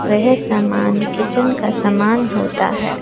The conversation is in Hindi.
वह सामान किचन का समान होता है।